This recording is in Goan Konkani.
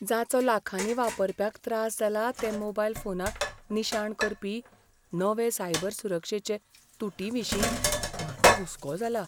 जाचो लाखांनी वापरप्यांक त्रास जाला ते मोबायल फोनांक निशाण करपी नवे सायबर सुरक्षेचे तूटीविशीं म्हाका हुस्को जाला.